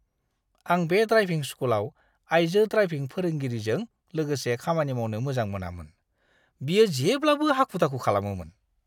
आं बे ड्राइभिं स्कूलआव आइजो ड्राइभिं फोरोंगिरिजों लोगोसे खामानि मावनो मोजां मोनामोन। बियो जेब्लाबो हाखु-दाखु खालामोमोन!